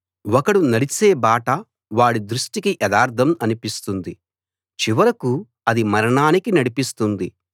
ఒకడు నడిచే బాట వాడి దృష్టికి యథార్థం అనిపిస్తుంది చివరకూ అది మరణానికి నడిపిస్తుంది